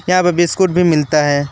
यहां पे बिस्कुट भी मिलता है।